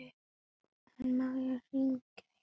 En má ég hringja hjá þér fyrst?